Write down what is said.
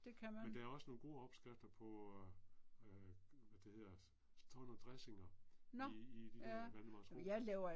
Men der er også nogle gode opskrifter på øh øh hvad det hedder. Står under dressinger i i de der Valdemarsro